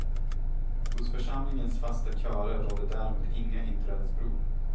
Hos församlingens fasta körer råder däremot inga inträdesprov.